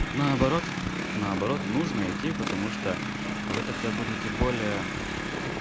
наоборот наоборот нужно идти потому что вы тогда будете более